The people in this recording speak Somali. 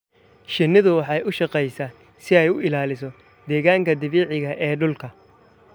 Shinnidu waxay u shaqeysaa si ay u ilaaliso deegaanka dabiiciga ah ee dhulka.